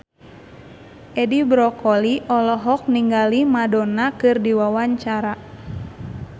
Edi Brokoli olohok ningali Madonna keur diwawancara